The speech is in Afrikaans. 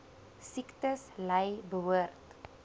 siektes ly behoort